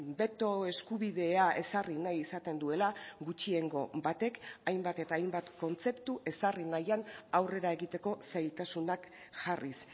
beto eskubidea ezarri nahi izaten duela gutxiengo batek hainbat eta hainbat kontzeptu ezarri nahian aurrera egiteko zailtasunak jarriz